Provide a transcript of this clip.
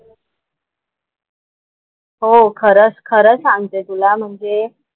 हो खरंच खरं सागते तुला म्हणजे,